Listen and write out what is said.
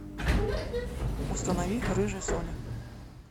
установи рыжая соня